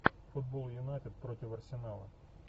футбол юнайтед против арсенала